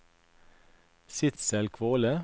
Sidsel Kvåle